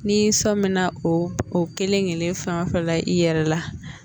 N'i sɔmina o kelen kelen fɛn o fɛn la i yɛrɛ la